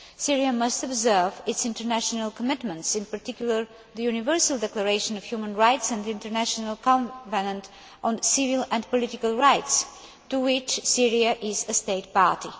Syria must observe its international commitments, in particular the Universal Declaration of Human Rights and the International Covenant on Civil and Political Rights, to which Syria is a state party.